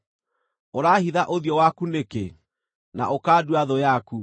Ũraahitha ũthiũ waku nĩkĩ, na ũkandua thũ yaku?